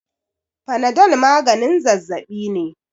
fanadol maganin zazzabi ne